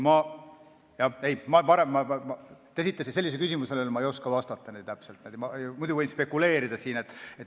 Te esitasite küsimuse, millele ma ei oska täpselt vastata, võin siin spekuleerida.